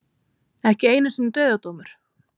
Ekki einu sinni dauðadómur.